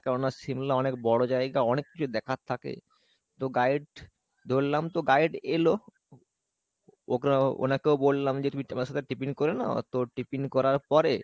কেননা সিমলা অনেক বড় জায়গা অনেক কিছু দেখার থাকে তো guide ধরলাম তো guide এলো ওখানে ওনাকেও বললাম যে তুমি সাথে tiffin করে নাও তো tiffin করার পরে